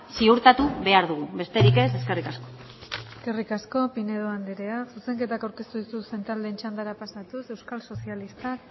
ziurtatu behar dugu besterik ez eskerrik asko eskerrik asko pinedo andrea zuzenketak aurkeztu dituzten taldeen txandara pasatuz euskal sozialistak